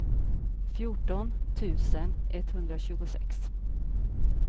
fjorton tusen etthundratjugosex